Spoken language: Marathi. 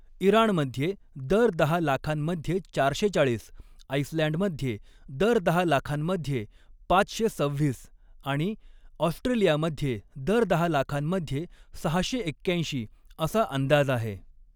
इराणमध्ये दर दहा लाखांमध्ये चारशे चाळीस, आइसलँडमध्ये दर दहा लाखांमध्ये पाचशे सव्हीस आणि ऑस्ट्रेलियामध्ये दर दहा लाखांमध्ये सहाशे एक्याऐंशी असा अंदाज आहे